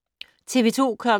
TV 2